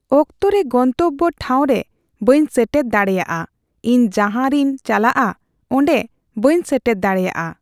ᱚᱠᱛᱚ ᱨᱮ ᱜᱚᱱᱛᱚᱵᱵᱚ ᱴᱷᱟᱣᱨᱮ ᱵᱟᱹᱧ ᱥᱮᱴᱮᱨ ᱫᱟᱲᱮᱭᱟᱜᱼᱟ ᱾ ᱤᱧ ᱡᱟᱦᱟᱸ ᱨᱤᱧ ᱪᱟᱞᱟᱜᱼᱟ ᱚᱸᱰᱮ ᱵᱟᱹᱧ ᱥᱮᱴᱮᱨ ᱫᱟᱲᱮᱭᱟᱜᱼᱟ ᱾